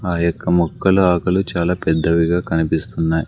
ఆ యొక్క మొక్కలు ఆకులు చాలా పెద్దవిగా కనిపిస్తున్నాయి.